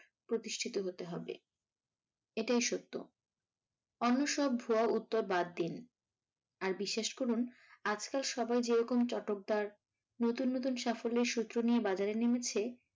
প্রতিষ্ঠিত হতে হবে। এটাই সত্য। অন্য সব ভুয়া উত্তর বাদ দিন। আর বিশ্বাস করুন আজকাল সবাই যেরকম চটকদার, নতুন নতুন সাফল্যের সূত্র নিয়ে বাজারে নেমেছে